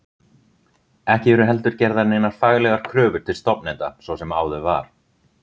Ekki eru heldur gerðar neinar faglegar kröfur til stofnenda svo sem áður var.